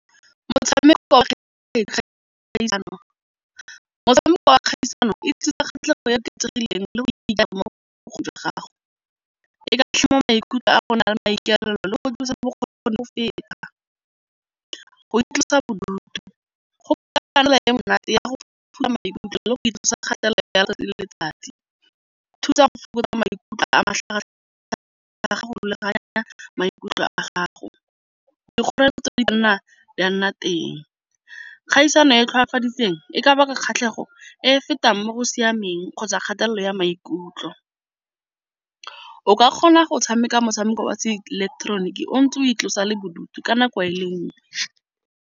dikgoreletsi di ka nna ya nna teng kgaisano e e ka baka kgatlhego e e fetang mo go siameng kgotsa kgatelelo ya maikutlo, o ka kgona go tshameka motshameko ya se ileketeroniki o ntse o itlosa bodutu ka nako e le nngwe.